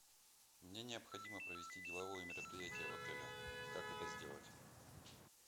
мне необходимо провести деловое мероприятие в отеле как это сделать